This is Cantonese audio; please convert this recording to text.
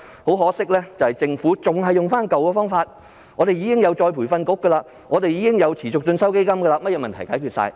可惜的是，政府仍然沿用舊方法，說道已設有再培訓局和基金等，可以解決所有問題。